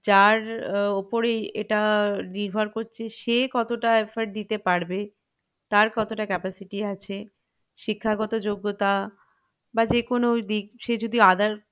যার উহ উপরেই এটা নির্ভর করছে সে কতটা effort দিতে পারবে তার কতটা capacity আছে শিক্ষাগত যোগ্যতা বা যেকোনো দিক সে যদি other